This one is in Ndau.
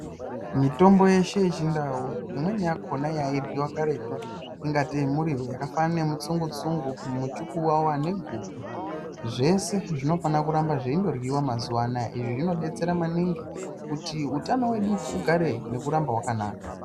Mitombo yeshe yechindau imweni yakona yairyiwa karetu ingatei muriwo yakafanana nemutsungu tsungu, muchukuwawa neguku zvese zvinofanira kuramba zveindoryiwa mazuwanaya izvi zvinodetsera maningi kuti utano hwedu hugare nekuramba hwakanaka.